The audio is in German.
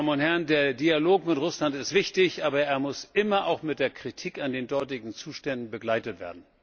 Meine Damen und Herren, der Dialog mit Russland ist wichtig, aber er muss immer auch mit der Kritik an den dortigen Zuständen begleitet werden.